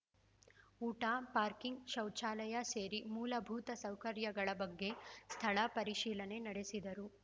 ಊಟ ಪಾರ್ಕಿಂಗ್‌ ಶೌಚಾಲಯ ಸೇರಿ ಮೂಲಭೂತ ಸೌಕರ್ಯಗಳ ಬಗ್ಗೆ ಸ್ಥಳ ಪರಿಶೀಲನೆ ನಡೆಸಿದರು